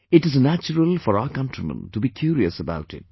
It is natural for our countrymen to be curious about it